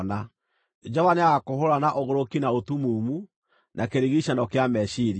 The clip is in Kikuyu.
Jehova nĩagakũhũũra na ũgũrũki na ũtumumu, na kĩrigiicano kĩa meciiria.